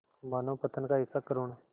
मानवपतन का ऐसा करुण